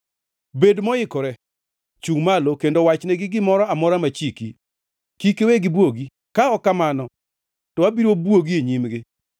“Bed moikore! Chungʼ malo kendo wachnegi gimoro amora machiki. Kik iwe gibwogi, ka ok kamano to abiro bwogi e nyimgi.